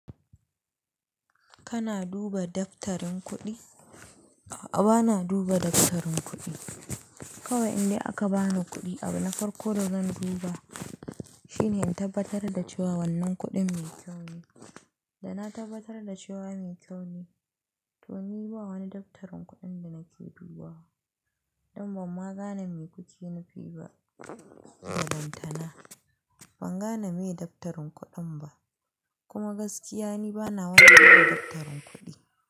Kana duba daftarin kuɗi? A'a bana duba daftarin kuɗi. Kawai in dai aka bani kuɗi abin na farko da zan duba shine in tabbatar da cewa wannan kuɗin mai kyau ne. Da na tabbatar da cewa mai kyau ne, to ni ba wani daftarin kuɗin da nake dubawa. Dan ban ma gane me kuki nufi ba ba lantana. Ban gane me daftarin kuɗin ba, kuma gaskiya ni bana wani daftarin kuɗi.